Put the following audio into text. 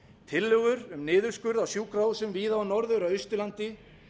tillögur um niðurskurð á sjúkrahúsum víða á norður og austurlandi